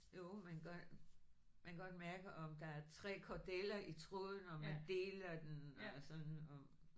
Jo man kan godt man kan godt mærke om der 3 kordeler i tråden og man deler den og sådan og